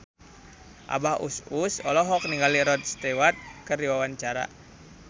Abah Us Us olohok ningali Rod Stewart keur diwawancara